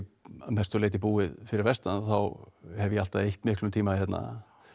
að mestu leyti búið fyrir vestan þá hef ég alltaf eytt miklum tíma hérna